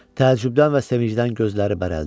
Təəccübdən və sevincdən gözləri bərəldi.